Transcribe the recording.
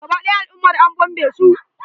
Gaba ɗaya al'ummar an bombe su.